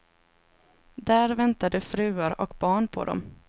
Där väntade fruar och barn på dem.